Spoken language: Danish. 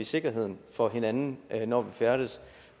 sikkerheden for hinanden når vi færdes